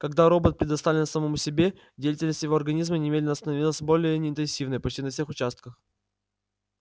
когда робот предоставлен самому себе деятельность его организма немедленно становится более интенсивной почти на всех участках